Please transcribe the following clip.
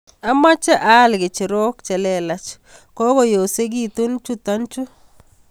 Amache aal kicherok che lelach kokoyosikitu chutochu